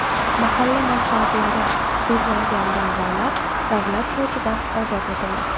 Mahalla manfaatlari ko‘zlangan da’volar davlat bojidan ozod etildi.